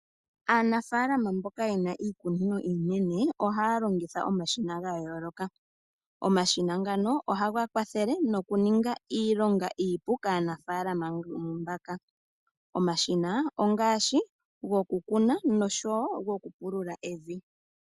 Aanafalama mboka yena iikunino iinene ohaa longitha omashina ga yooloka omashina ngano ohaga kwathele noku ninga iilonga iipu kaanafalama omashina ongaashi gokukuna oshowo goku pulula evi.